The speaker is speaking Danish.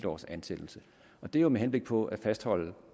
års ansættelse og det er jo med henblik på at fastholde